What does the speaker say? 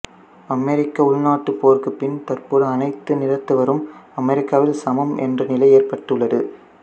அமெரிக்க உள்நாட்டுப் போருக்கு பின் தற்போது அனைத்து நிறத்தவரும் அமெரிக்காவில் சமம் என்ற நிலை ஏற்பட்டுள்ளது